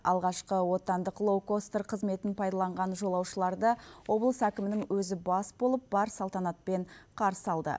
алғашқы отандық лоукостер қызметін пайдаланған жолаушыларды облыс әкімінің өзі бас болып бар салтанатпен қарсы алды